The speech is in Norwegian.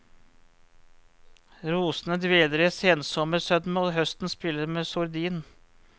Rosene dveler i sensommersødme, og høsten spiller med sordin.